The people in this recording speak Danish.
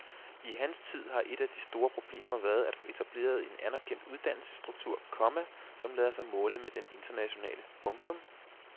I hans tid har et af de store problemer været at få etableret en anerkendt uddannelsesstruktur, komma som lader sig måle med den internationale. punktum